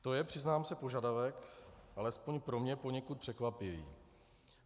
To je, přiznám se požadavek alespoň pro mě poněkud překvapivý.